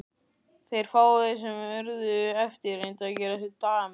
Þeir fáu sem urðu eftir reyndu að gera sér dagamun.